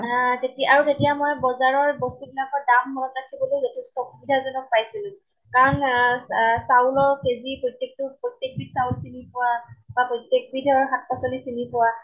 হা তেতিয়া আৰু তেতিয়া মই বজাৰৰ বস্তু বিলাকৰ দাম মনত ৰাখিবলৈ যথেষ্ট অসুবিধা জনক পাইছিলো। কাৰণ আহ আহ চাউলৰ KG, প্ৰত্য়েক টো প্ৰত্য়েক বিধ চাউল চিনি পোৱা বা প্ৰত্য়েক বিধ শাক পাচলী চিন পোৱা